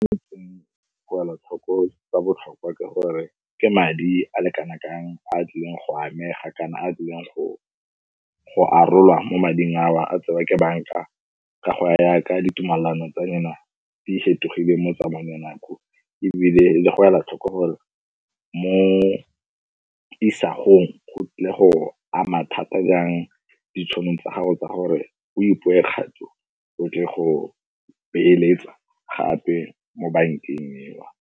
Go ela tlhoko tsa botlhokwa ka gore ke madi a le kana kang a a tlileng go amega kana a a tlileng go arolwana mo mading a o a tsewa ke banka ka go yaka ditumalano tsa yona di fetogile mo tsamaong ya nako ebile le go ela tlhoko gore mo isagong go tlile go ama thata jang ditšhono tsa gago tsa gore o kgato o tle go beeletsa gape mo bankeng eo.